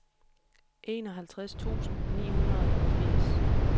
enoghalvtreds tusind ni hundrede og firs